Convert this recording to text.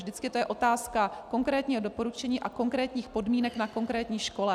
Vždycky to je otázka konkrétního doporučení a konkrétních podmínek na konkrétní škole.